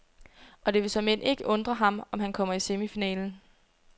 Og det vil såmænd ikke undre ham, om han kommer i semifinalen.